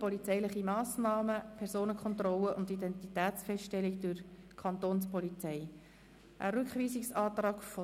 Polizeiliche Massnahmen, Personenkontrollen und Identitätsfeststellung durch die Kapo.